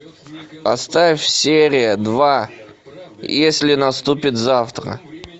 поставь серия два если наступит завтра